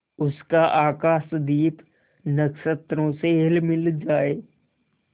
उसका आकाशदीप नक्षत्रों से हिलमिल जाए